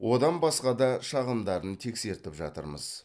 одан басқа да шағымдарын тексертіп жатырмыз